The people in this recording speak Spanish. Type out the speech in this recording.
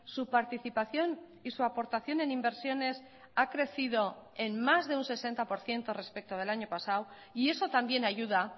su participación y su aportación en inversiones ha crecido en más de un sesenta por ciento respecto del año pasado y eso también ayuda